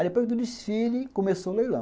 Aí depois do desfile, começou o leilão.